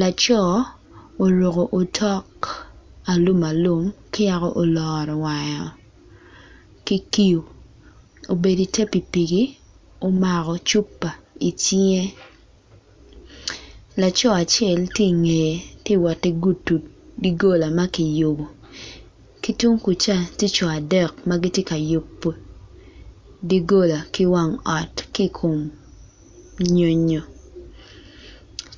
Laco oruko otok alum alum ki yako oloro wange ki kiu obedo i ter pipiki omako cupa i cinge laco acel tye i nge tye wot i gudo dogola magiyubo ki tung kuca tye co adek magitye ka yubo dogola ki wang ot ki kom nyonyo,